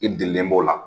I delilen b'o la